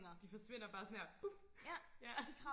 de forsvinder bare sådan her puf ja